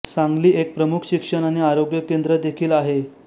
सांगली एक प्रमुख शिक्षण आणि आरोग्य केंद्र देखील आहे